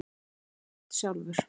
Hann sagði þær oft sjálfur.